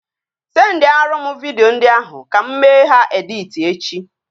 Sendiarụ m vidio ndị ahụ ka mụ mee ha editi echi